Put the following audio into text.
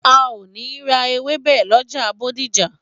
A o ni ra ewebẹ lọjà Bódìjà